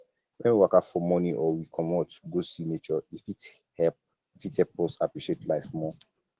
when we waka for morning or we um comot go see nature e fit help fit help us appreciate life more